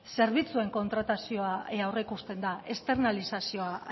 zerbitzuen kontratazioa aurreikusten da externalizazioa